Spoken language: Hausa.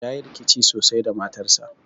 Yayi rikici sosai da matarsa